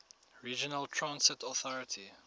regional transit authority